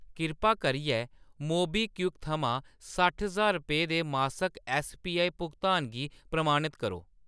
कृपा करियै मोबीक्विक थमां सट्ठ ज्हार रपेऽ दे मासक ऐस्सपीआई भुगतान गी प्रमाणत करो।